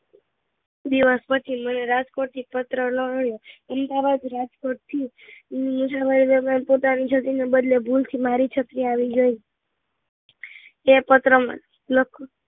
દિવસ પછી મને રાજકોટ થી પત્ર લખ્યો અમદાવાદ રાજકોટ થી પોતાની છત્રી ના બદલે ભૂલથી મારી છત્રી આવી ગઈ એ પત્ર મને લખ્યો